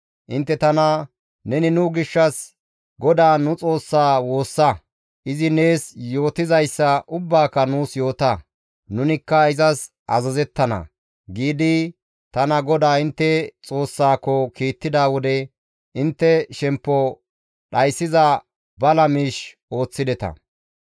Intte tana, ‹Neni nu gishshas GODAA nu Xoossaa woossa; izi nees yootizayssa ubbaaka nuus yoota; nunikka izas azazettana› giidi tana GODAA intte Xoossaako kiittida wode intte shemppo dhayssiza bala miish ooththideta.